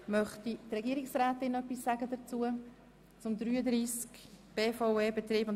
Möchte die Regierungsrätin etwas dazu sagen?